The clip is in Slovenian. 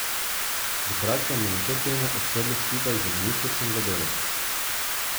V kratkem bomo to temo odprli skupaj z ministrstvom za delo.